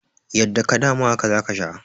Yadda ka dama, haka za a sha.